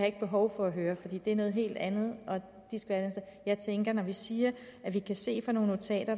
ikke behov for at høre for det er noget helt andet jeg tænker at når vi siger at vi kan se fra nogle notater